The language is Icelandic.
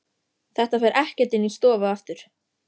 Þetta fer ekkert inn í stofu aftur!